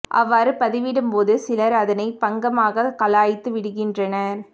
அவ்வாறு பதிவிடும் போது சிலர் அதனை பங்கமாக கலாய்த்து விடுகின்றனர்